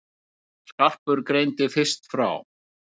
Skarpur greindi fyrst frá.